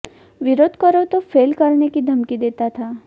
विरोध करो तो फेल करने की धमकी देता था